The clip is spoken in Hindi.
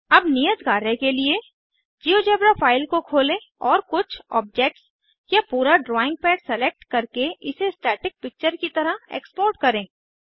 अब नियत कार्य के लिए - जिओजेब्रा फाइल को खोलें और कुछ ओब्जेट्स या पूरा ड्राइंग पैड सेलेक्ट करके इसे स्टैटिक पिक्चर की तरह एक्सपोर्ट करें